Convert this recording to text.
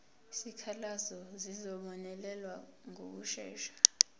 izikhalazo zizobonelelwa ngokushesha